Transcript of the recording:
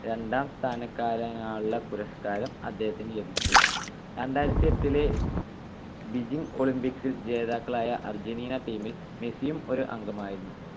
രണ്ടാം സ്ഥാനക്കാരനുള്ള പുരസ്കാരം അദ്ദേഹത്തിന് ലഭിച്ചു. രണ്ടായിരത്തിയെട്ടിലെ ബീജിങ്ങ് olympics ൽ ജേതാക്കളായ അർജന്റീന team ൽ മെസ്സിയും ഒരു അംഗമായിരുന്നു.